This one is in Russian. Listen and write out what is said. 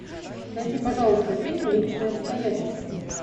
найди пожалуйста фильм личные обстоятельства